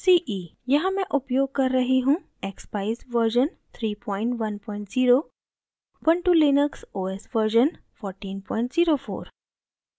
यहाँ मैं उपयोग कर रही हूँ: